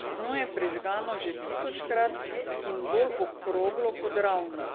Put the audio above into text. Dno je prežgano že tisočkrat in bolj okroglo kot ravno.